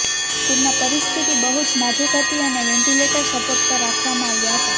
તેમના પરિસ્થિતિ બહુ જ નાજુક હતી અને વેન્ટીલેટર સપોર્ટ પર રાખવામાં આવ્યા હતા